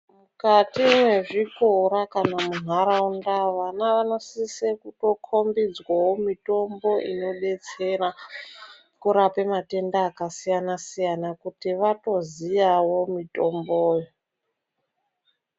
Mukati mwezvikora kana muntaraunda vana vanosise kutokombidzwawo mitombo inodetsera kurape matenda akasiyana soyana kuti vatoziyawo mitomboyo.